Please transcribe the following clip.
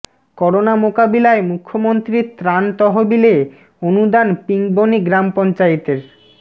corona মোকাবিলায় মুখ্যমন্ত্রীর ত্রাণ তহবিলে অনুদান পিংবনি গ্রাম পঞ্চায়েতের